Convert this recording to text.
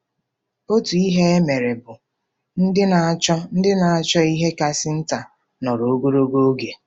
Otu ihe e mere bụ: “ Ndị na-achọ “ Ndị na-achọ ihe kasị nta nọrọ ogologo oge